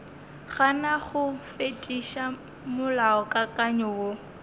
gana go fetiša molaokakanywa wo